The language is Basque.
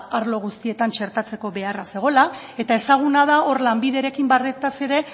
arlo guztietan txertatzeko beharra zegoela eta ezaguna da hor lanbiderekin ere